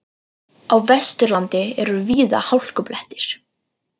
Á Vesturlandi eru víða hálkublettir